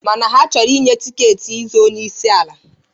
Mana ha achọrọ inye tiketi ị zọọ onyeisi ala.